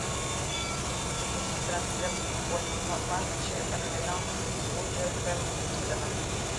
запусти трансляцию футбольного матча арсенал с вулверхэмптоном